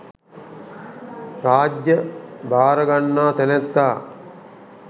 රාජ්‍ය භාර ගන්නා තැනැත්තා